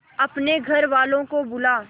अपने घर वालों को बुला